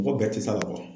Mɔgɔ bɛɛ ti sa bɔ